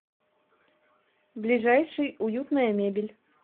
ближайший уютная мебель